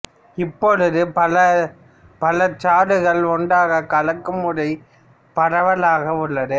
இப்பொழுது பல பழச்சாறுகளை ஒன்றாக கலக்கும் முறை பரவலாக உள்ளது